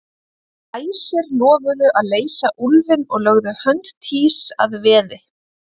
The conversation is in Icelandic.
Æsir lofuðu að leysa úlfinn og lögðu hönd Týs að veði.